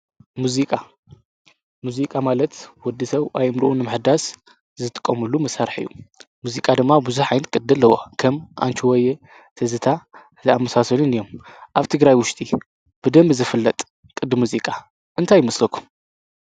ሙዙቃ ሙዚቃ ማለት ወዲ ሰው ኣይምርኡ ኣምሕዳስ ዝጥቆሙሉ መሣርሕ እዩ ።ሙዚቃ ድማ ብዙኅ ኃይንቲ ቅድ ለዋ ከም ኣንችወየ ፣ተዝታ ዝኣምሳሰልን እዮም። ኣብቲ ግራይ ውሽቲ ብደም ዝፍለጥ ቕድ ሙዚቃ እንታይ ይመስለኩም?